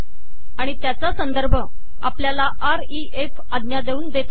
आणि त्याचा संदर्भ आपल्याला रेफ आज्ञा देऊन देता येतो